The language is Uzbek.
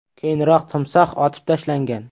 Keyinroq timsoh otib tashlangan.